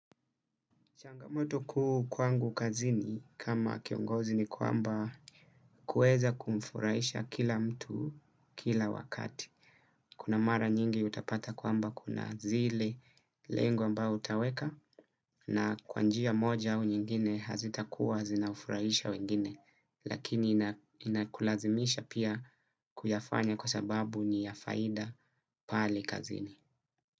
Changamoto kuu kwangu kazini kama kiongozi ni kwamba kueza kumfurahisha kila mtu kila wakati. Kuna mara nyingi utapata kwamba kuna zile lengo ambao utaweka na kwa njia moja au nyingine hazitakuwa zinafurahisha wengine. Lakini inakulazimisha pia kuyafanya kwa sababu ni ya faida pale kazini.